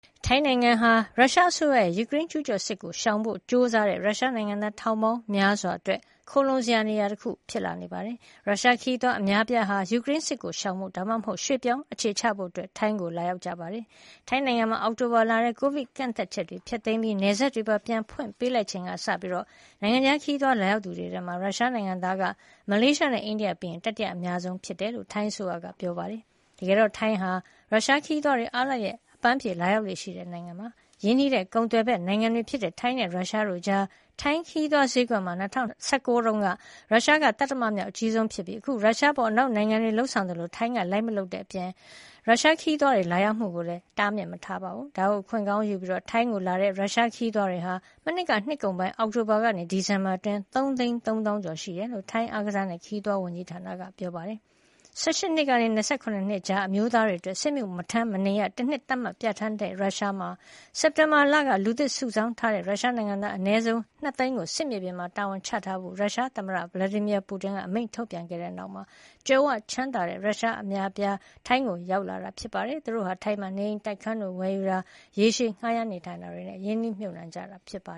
ထိုင်းနိုင်ငံဟာ ရုရှားအစိုးရရဲ့ယူကရိန်းကျူးကျော်စစ်ကို ရှောင်ဖို့ကြိုးစားတဲ့ရုရှားနိုင်ငံသား ထောင်ပေါင်းများစွာအတွက် ခိုလှုံစရာနေရာတခုဖြစ်လာနေပါတယ်။ ရုရှားခရီးသွားအများအပြားဟာ ယူကရိန်းစစ်ကိုရှောင်ဖို့ ဒါမှမဟုတ် ရွှေ့ပြောင်းအခြေချဖို့ ထိုင်းကိုလာရောက်နေတာပါ။ ထိုင်းနိုင်ငံမှာ အောက်တိုဘာလထဲ ကိုဗစ်ကန့်သတ်ချက်တွေဖျက်သိမ်းပြီး နယ်စပ်တွေပါ ပြန်ဖွင့်ပေးလိုက်ချိန်ကစပြီး နိုင်ငံခြားခရီးသွားလာရောက်သူတွေထဲမှာ ရုရှားနိုင်ငံသားက မလေးရှားနဲ့အိန္ဒိယပြီးရင် တတိယအများဆုံးဖြစ်တယ်လို့ ထိုင်းအစိုးရကပြောပါတယ်။ တကယ်တော့ ထိုင်းနိုင်ငံဟာ ရုရှားခရီးသွားတွေ အားလပ်ရက်အပမ်းဖြေလာရောက်လေ့ရှိတဲ့ နိုင်ငံဖြစ်ပါတယ်။ ရင်းနှီးတဲ့ကုန်သွယ်ဘက်နိုင်ငံတွေဖြစ်တဲ့ ထိုင်းနဲ့ရုရှားတို့ကြား ထိုင်းခရီးသွားဈေးကွက်မှာ ၂၀၁၉ တုန်းက ရုရှားက သတ္တမမြောက်အကြီးဆုံးဖြစ်ပြီး အခု ရုရှားအပေါ် အနောက်နိုင်ငံတွေလုပ်ဆောင်သလို ထိုင်းကလိုက်မလုပ်တဲ့အပြင် ရုရှားခရီးသွားတွေလာရောက်မှုကိုလည်း မတားမြစ်ပါဘူး။ ဒါကိုအခွင့်ကောင်းယူပြီး ထိုင်းကိုလာရောက်ကြတဲ့ ရုရှားခရီးသွားတွေဟာ မနှစ်ကနှစ်ကုန်ပိုင်း အောက်တိုဘာကနေ ဒီဇင်ဘာအတွင်း ၃ သိန်း ၃ သောင်းကျော်ရှိနေတယ်လို့ ထိုင်းအားကစားနဲ့ခရီးသွားဝန်ကြီးဌာနက ပြောပါတယ်။ ၁၈ နှစ်ကနေ ၂၇ နှစ် ကြား အမျိုးသားတွေအတွက် စစ်မှုမထမ်းမနေရ တနှစ် သတ်မှတ်ပြဌာန်းထားတဲ့ရုရှားမှာ စက်တင်ဘာလက လူသစ်စုဆောင်းထားတဲ့ရုရှားနိုင်ငံသား အနည်းဆုံး ၂ သိန်းကို စစ်မြေပြင်မှာ တာဝန်ချထားဖို့ ရုရှားသမ္မတ Vladimir Putin ရဲ့အမိန့်ထုတ်ပြန်ခဲ့ပြီးတဲ့နောက် ကြွယ်ဝချမ်းသာတဲ့ ရုရှားအများအပြား ထိုင်းကို ရောက်လာကြတာဖြစ်ပါတယ်။ သူတို့ဟာ ထိုင်းမှာ နေအိမ်တိုက်ခန်းတွေဝယ်ယူတာ၊ ရေရှည်ငှါးရမ်းနေထိုင်တာတွေနဲ့ ရင်းနှီးမြှုပ်နှံလာကြတာပါ